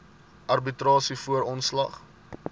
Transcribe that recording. arbitrasie voor ontslag